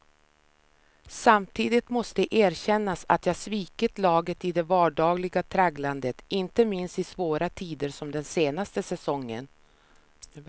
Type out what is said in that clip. Samtidigt måste erkännas att jag svikit laget i det vardagliga tragglandet, inte minst i svåra tider som den senaste säsongen.